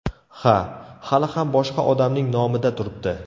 Ha, hali ham boshqa odamning nomida turibdi.